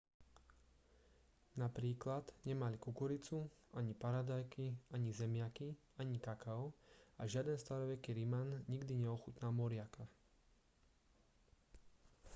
napríklad nemali kukuricu ani paradajky ani zemiaky ani kakao a žiaden staroveký riman nikdy neochutnal moriaka